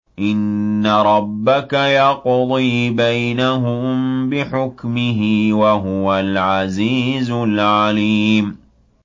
إِنَّ رَبَّكَ يَقْضِي بَيْنَهُم بِحُكْمِهِ ۚ وَهُوَ الْعَزِيزُ الْعَلِيمُ